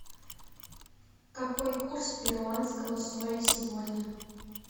какой курс перуанского соля сегодня